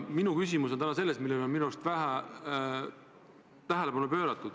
Minu küsimus on täna selles, et ühele asjale on minu arust vähe tähelepanu pööratud.